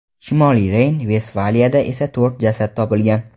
Shimoliy Reyn-Vestfaliyada esa to‘rt jasad topilgan.